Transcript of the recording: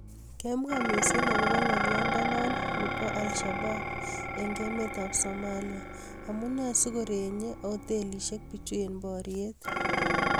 keemwaa misiing' akobo ng;oliondo ni ba al-shabaab ing' emet at somalia: Amunee sigoreenye oteliisiek piichu eng' booryeet